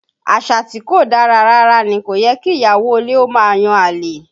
Àṣà tí kò dára rárá ní, kò yẹ kí ìyàwó ilé ó máa yan àlè